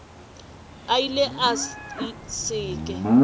a ile a se ke